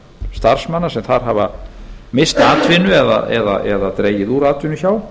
starfsmanna sem þar hafa misst atvinnu eða dregið úr atvinnu hjá